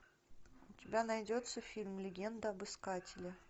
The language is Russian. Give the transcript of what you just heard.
у тебя найдется фильм легенда об искателе